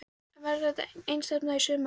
En verður þetta ekki einstefna í sumar?